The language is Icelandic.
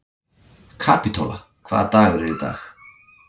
Kapítóla, hvaða dagur er í dag?